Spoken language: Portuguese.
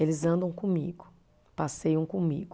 Eles andam comigo, passeiam comigo.